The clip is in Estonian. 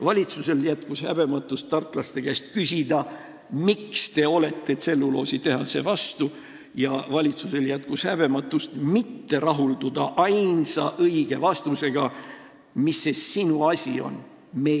Valitsusel jätkus häbematust tartlaste käest küsida, miks te olete tselluloositehase vastu, ja valitsusel jätkus häbematust mitte rahulduda ainsa õige vastusega: "Mis see sinu asi on?